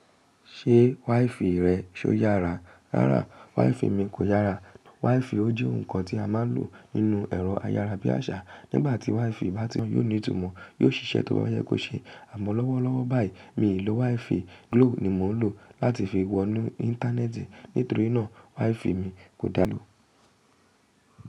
Ṣé wi-fi rẹ ṣó yára? Rárá, wi-fi mi kò yára. Wi-fi ó jẹ́ nǹkan tí a máa ń lò nínú ẹ̀rọ ayára bí àṣá. Nígbà tí wi-fi bá ti mọ́, yóò ní ìtumọ̀. Yóò ṣiṣẹ́ tó bá yẹ kó ṣe. Àmọ́ lọ́wọ́lọ́wọ́ báyìí, mi ì lò wi-fi. Glo ni mò ń lò láti fi wọnú Íńtánẹ́ẹ̀tì nítorí náà wi-fi mi kò dáa lò.